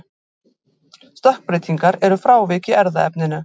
Stökkbreytingar eru frávik í erfðaefninu.